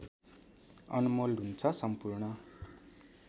अनमोल हुन्छ सम्पूर्ण